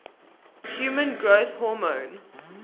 human growth hormone